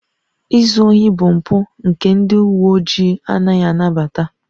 Izu ohi bụ mpụ nke ndị uwe ojii anaghị anabata